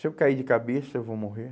Se eu cair de cabeça, eu vou morrer.